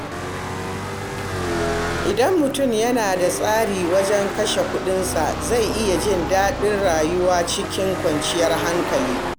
Idan mutum yana da tsari wajen kashe kuɗinsa, zai iya jin daɗin rayuwa cikin kwanciyar hankali.